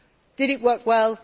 Did it work well?